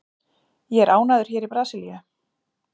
Ég er ánægður hér í Brasilíu.